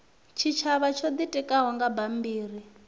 tshitshavha tsho itikaho nga bammbiri